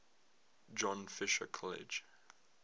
john fisher college